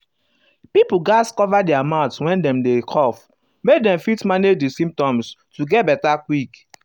pipo gatz cover their mouth when dem dey cough make dem fit um manage di symptoms to get beta quick.